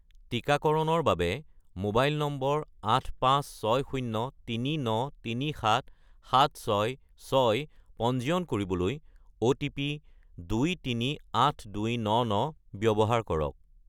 টিকাকৰণৰ বাবে mobile number 85603937766 পঞ্জীয়ন কৰিবলৈ অ'টিপি 238299 ব্যৱহাৰ কৰক